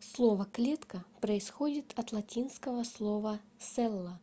слово клетка происходит от латинского слова cella